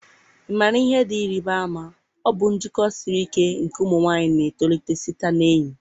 ị maara ihe dị ịrịba ama? Ọ bụ njikọ siri ike nke ụmụ nwanyị na-etolite site na enyi